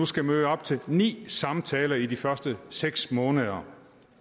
skal møde op til ni samtaler i de første seks måneder